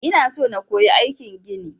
Ina so na koyi aikin gini.